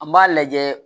An b'a lajɛ